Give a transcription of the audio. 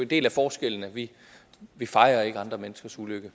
del af forskellen at vi vi fejrer ikke andre menneskers ulykke